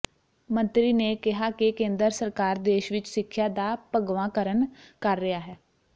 ਮੰਤਰੀ ਨੇ ਕਿਹਾ ਕਿ ਕੇਂਦਰ ਸਰਕਾਰ ਦੇਸ਼ ਵਿਚ ਸਿੱਖਿਆ ਦਾ ਭਗਵਾਂਕਰਨ ਕਰ ਰਿਹਾ ਹੈ